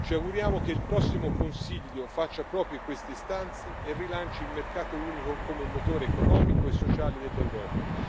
Ci auguriamo che il prossimo Consiglio faccia proprie queste istanze e rilanci il mercato unico come motore economico e sociale dell'Europa.